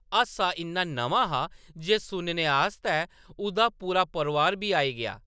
हासा इन्ना नमां हा जे सुनने आस्तै उʼदा पूरा परोआर बी आई गेआ ।